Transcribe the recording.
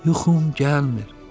Yuxum gəlmir.